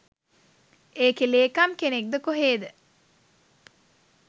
ඒකෙ ලේකම් කෙනෙක්ද කොහේද